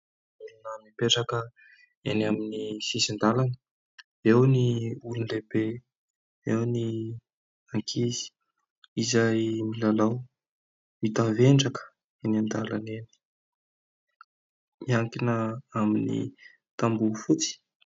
Olona mipetraka eny amin'ny sisin-dalana, eo ny olon-dehibe, eo ny ankizy izay milalao, mitavendraka eny an-dalana eny, miankina amin'ny tamboho fotsy.